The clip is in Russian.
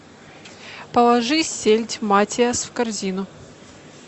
положи сельдь матиас в корзину